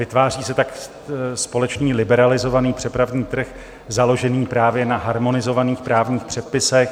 Vytváří se tak společný liberalizovaný přepravní trh založený právě na harmonizovaných právních předpisech.